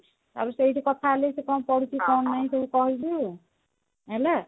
ଆଉ ସେଇଠୁ କଥା ହେଲୁ ସେ କଣ କରୁଛି କଣ ନାଇଁ ସବୁ କହିଲି ହେଲା